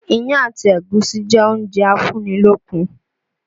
Iyán àti ẹ̀gúsí jẹ́ oúnjẹ a fún ní lókun